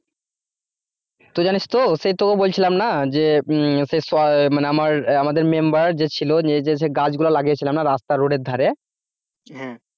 তুই জানিস তো সেই তোকে বলছিলাম না যে উম সেই মানে আমার আমাদের member যে ছিল নিজেদের সে গাছগুলো লাগিয়ে ছিলাম না রাস্তা রোডের ধারে